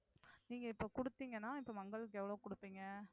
நீங்க இப்ப குடுத்தீங்கன்னா இப்ப மங்களுக்கு எவ்ளோ குடுப்பீங்க